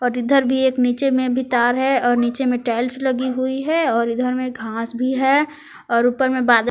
इधर भी एक नीचे मे तार है और नीचे में टाइल्स लगी हुई है और इधर में घास भी है और ऊपर में बाद--